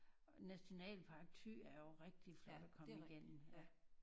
Nationalpark Thy er jo rigtig flot at komme igennem ja